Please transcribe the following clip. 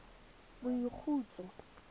boikhutso